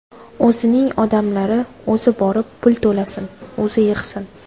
O‘zining odamlari, o‘zi borib, pul to‘lasin, o‘zi yig‘sin.